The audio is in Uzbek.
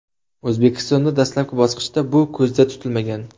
O‘zbekistonda dastlabki bosqichda bu ko‘zda tutilmagan.